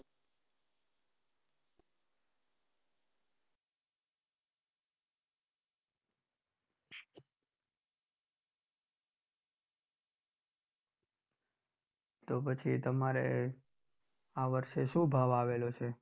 તો પછી તમારે આ વર્ષે શું ભાવ આવેલો છે?